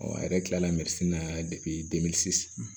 Ɔ a yɛrɛ kila la na